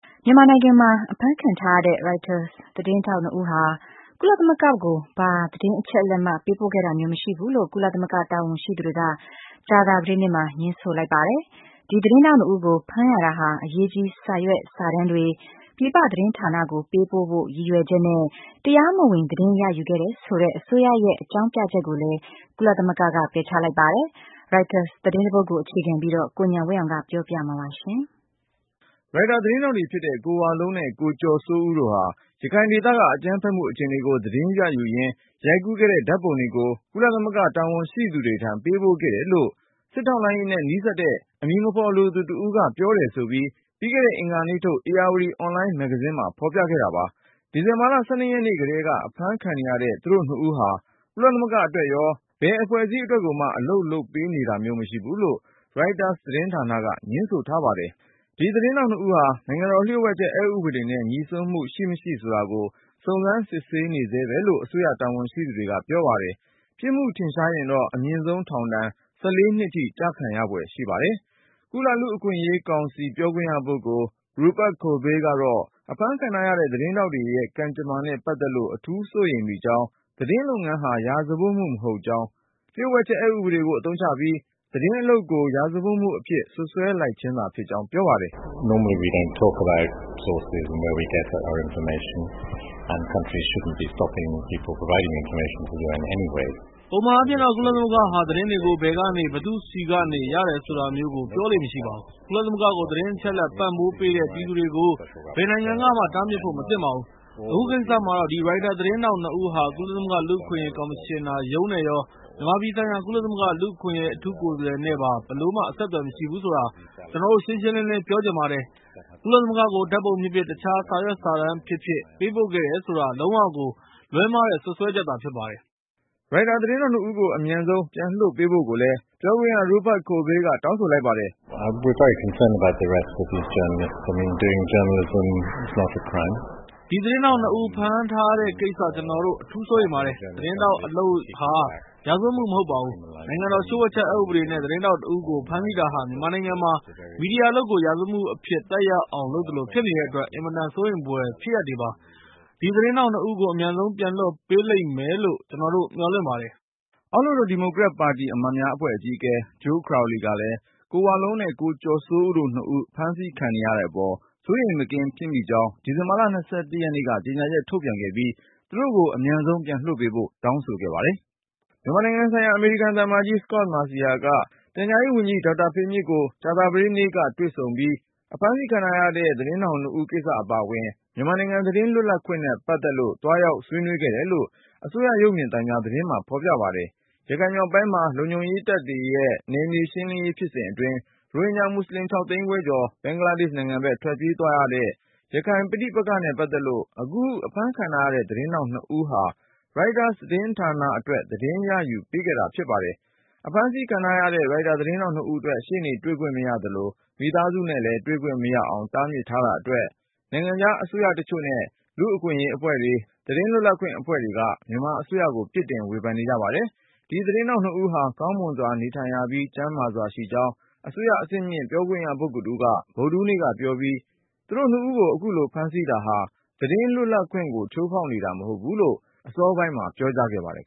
မြန်မာနိုင်ငံမှာ အဖမ်းခံထားရတဲ့ Reuters သတင်းထောက် ၂ ဦးဟာ ကုလသမဂ္ဂကို ဘာသတင်းအချက်အလက်မှ ပေးပို့ခဲ့တာမျိုး မရှိဘူးလို့ ကုလသမဂ္ဂ တာဝန်ရှိသူတွေက ကြာသပတေးနေ့မှာ ငြင်းဆိုလိုက်ပါတယ်။ ဒီသတင်းထောက် ၂ ဦးကို ဖမ်းရတာဟာ အရေးကြီး စာရွက် စာတမ်းတွေ ပြည်ပသတင်းဌာနကို ပေးပို့ဖို့ ရည်ရွယ်ချက်နဲ့ တရားမဝင် သတင်းရယူ ခဲ့တယ်ဆိုတဲ့ အစိုးရရဲ့ အကြောင်းပြချက်ကိုလဲ ကုလသမဂ္ဂက ပယ်ချလိုက်ပါတယ်။ ရိုက်တာသတင်းတပုဒ်ပေါ် အခြေခံပြီး ကိုဉာဏ်ဝင်းအောင်က ပြောပြမှာပါ။ Reuters သတင်းထောက်တွေဖြစ်တဲ့ ကိုဝလုံးနဲ့ ကိုကျော်စိုးဦးတို့ဟာ ရခိုင်ဒေသက အကြမ်းဖက်မှု အခြေအနေကို သတင်းယူရင်း ရိုက်ကူးခဲ့တဲ့ ဓါတ်ပုံတွေကို ကုလသမဂ္ဂ တာဝန်ရှိသူတွေထံ ပေးပို့ခဲ့တယ်လို့ စစ်ထောက်လှမ်းရေးနဲ့ နီးစပ်တဲ့ အမည်မဖေါ်လိုသူတဦးက ပြောတယ်ဆိုပြီး ပြီးခဲ့တဲ့ အင်္ဂါနေ့ထုတ် ဧရာဝတီ အွန်လိုင်းမဂ္ဂဇင်းမှာ ဖေါ်ပြခဲ့တာပါ။ ဒီဇင်ဘာ ၁၂ ရက်နေ့ကတည်းက အဖမ်းခံနေရတဲ့ သူတို့နှစ်ဦးဟာ ကုလသမဂ္ဂအတွက်ရော အခြား ဘယ်အဖွဲ့အစည်း အတွက်ကိုမှ အလုပ်လုပ်ပေး နေတာမျိုး မရှိဘူးလို့ Reuters သတင်းဌာနက ငြင်းဆိုထားပါတယ်။ သတင်းထောက်၂ဦးဟာ နိုင်ငံတော် လျှို့ဝှက်ချက် အက်ဥပဒေနဲ့ ငြိစွန်းမှု ရှိမရှိဆိုတာကို စုံစမ်းစစ်ဆေးနေဆဲပဲလို့ အစိုးရ တာဝန်ရှိသူတွေက ပြောပါတယ်။ ပြစ်မှုထင်ရှားရင်တော့ အမြင့်ဆုံးထောင်ဒဏ် ၁၄ နှစ်ထိ ကျခံရဖွယ် ရှိပါတယ်။ ကုလ-လူ့အခွင့်အရေးကောင်စီ ပြောခွင့်ရပုဂ္ဂိုလ် Rupert Colville ကတော့ အဖမ်းခံထားရတဲ့ သတင်းထောက်တွေရဲ့ ကံကြမ္မာနဲ့ပတ်သက်လို့ အထူးစိုးရိမ်မိကြောင်း၊ သတင်းလုပ်ငန်းဟာ ရာဇဝတ်မှု မဟုတ်ကြောင်း၊ လျှို့ဝှက်ချက် အက်ဥပဒေကိုအသုံးချပြီး သတင်းအလုပ်ကို ရာဇဝတ်မှုအဖြစ် စွပ်စွဲလိုက်ခြင်းသာ ဖြစ်ကြောင်း ပြောပါတယ်။ “ပုံမှန်အားဖြင့်တော့ ကုလသမဂ္ဂဟာ သတင်းတွေကို ဘယ်ကနေ- ဘယ်သူ့ဆီကနေ ရတယ်ဆိုတာမျိုးကို ပြောလေ့မရှိပါဘူး။ ကုလသမဂ္ဂကို သတင်းအချက်အလက် ပံ့ပိုးပေးတဲ့ ပြည်သူတွေကို ဘယ်နိုင်ငံကမှ တားမြစ်ဖို့ မသင့်ပါဘူး။ အခုကိစ္စမှာတော့ ဒီ Reuters သတင်းထောက် ၂ဦးဟာ ကုလသမဂ္ဂ လူ့အခွင့်အရေး ကော်မရှင်နာရုံးနဲ့ရော မြန်မာပြည်ဆိုင်ရာ ကုလ-လူ့အခွင့်အရေး အထူးကိုယ်စားလှယ်နဲ့ပါ ဘယ်လိုမှ အဆက်သွယ်မရှိဘူး ဆိုတာ ကျနော်တို့ ရှင်းရှင်းလင်းလင်း ပြောချင်ပါတယ်။ ကုလသမဂ္ဂကို ဓါတ်ပုံဖြစ်ဖြစ် အခြား စာရွက်စာတမ်း ဖြစ်ဖြစ် ပေးပို့ခဲ့တယ်ဆိုတာ လုံးဝကို လွဲမှားတဲ့ စွပ်စွဲချက်သာ ဖြစ်ပါတယ်။” ရိုက်တာ သတင်းထောက် ၂ဦးကို အမြန်ဆုံး ပြန်လွှတ်ပေးဖို့ကိုလဲ Rupert Colville ကတောင်းဆိုလိုက်ပါတယ်။ “ ဒီသတင်းထောက် ၂ဦး ဖမ်းထားတဲ့ကိစ္စ ကျနော်တို့ အထူးစိုးရိမ်ပါတယ်။ သတင်းထောက် အလုပ်ဟာ ရာဇဝတ်မှု မဟုတ်ပါဘူး။ နိုင်ငံတော် လျှို့ဝှက်ချက် အက်ဥပဒေနဲ့ သတင်းထောက်တဦးကို ဖမ်းဆီးတာဟာ မြန်မာနိုင်ငံမှာ မီဒီယာအလုပ်ကို ရာဇဝတ်မှုအဖြစ် သက်ရောက်အောင် လုပ်သလို ဖြစ်နေတဲ့အတွက် အင်မတန် စိုးရိမ်ဖွယ် ဖြစ်ရပ်တွေပါ။ ဒီသတင်းထောက် ၂ဦးကို အမြန်ဆုံး ပြန်လွှတ် ပေးလိမ့်မယ်လို့ ကျနော်တို့ မျှော်လင့်ပါတယ်။” အမေရိကန် အောက်လွှတ်တော် ဒီမိုကရက်ပါတီအမတ်များအဖွဲ့ အကြီးအကဲ Joe Crowley ကလည်း ကိုဝလုံးနဲ့ ကိုကျော်စိုးဦးတို့ ၂ဦးအဖမ်းခံနေရတဲ့ အပေါ်စိုးရိမ်မကင်း ဖြစ်မိကြောင်း ဒီဇင်ဘာ ၂၁ ရက်နေ့က ကြေညာချက်ထုတ်ပြန်ခဲ့သလို၊ သူတို့ကို အမြန်ပြန်လွှတ်ပေးဖို့ တောင်းဆို ခဲ့ပါတယ်။ မြန်မာနိုင်ငံဆိုင်ရာ အမေရိကန်သံအမတ်ကြီး Scot Marciel က ပြန်ကြားရေးဝန်ကြီး ဦးဖေမြင့်ကို ကြာသပတေးနေ့က တွေ့ဆုံပြီး အဖမ်းဆီး ခံထားရတဲ့ သတင်းထောက် ၂ဦး ကိစ္စအပါအဝင် မြန်မာနိုင်ငံ သတင်းလွတ်လပ်ခွင့်နဲ့ ပတ်သက်လို့ သွားရောက် ဆွေးနွေးခဲ့တယ်လို့ အစိုးရ ရုပ်မြင်သံကြား သတင်းမှာ ဖေါ်ပြပါတယ်။ ရခိုင်မြောက်ပိုင်းမှာ လုံခြုံရေးတပ်ရဲ့ နယ်မြေရှင်းလင်းရေး ဖြစ်စဉ်အတွင်း ရိုဟင်ဂျာ မွတ်ဆလင် ၆သိန်းခွဲကျော် ဘင်္ဂလားဒေ့ရှ် နိုင်ငံဘက် ထွက်ပြေးသွားတဲ့ ရခိုင်ပဋိပက္ခနဲ့ ပတ်သက်လို့ အခု အဖမ်းခံထားရတဲ့ သတင်းထောက် ၂ဦးဟာ Reuters သတင်းဌာနအတွက် သတင်းရယူ ပေးခဲ့တာ ဖြစ်ပါတယ်။ အဖမ်းဆီခံထားရတဲ့ ရိုက်တာ သတင်းထောက် ၂ဦးအတွက် ရှေ့နေတွေ့ခွင့်မရတာ ၊ မိသားစုနဲ့ တွေ့ခွင့်မရအောင် တားမြစ်ထားတာ အတွက် ၊ နိုင်ငံခြား အစိုးရတချို့နဲ့ လူ့အခွင့်အရေးအဖွဲ့တွေ၊ သတင်းအဖွဲ့အစည်းတွေက မြန်မာအစိုးရကို ပြစ်တင်ဝေဖန် ကြပါတယ်။ ဒီသတင်းထောက် ၂ဦးဟာ ကောင်းမွန်စွာ နေထိုင်ရပြီး ကျန်းမာစွာရှိကြောင်း အစိုးရအဆင့်မြင့် ပြောခွင့်ရပုဂ္ဂိုလ်က ဗုဒ္ဓဟူးနေ့က ပြောပြီး၊ သူတို့ ၂ဦးကို အခုလို ဖမ်းဆီးထားတာဟာ သတင်းလွတ်လပ်ခွင့်ကို ချိုးဖေါက်နေတာ မဟုတ်ဘူးလို့ အစောပိုင်းမှာ ပြောခဲ့ပါတယ်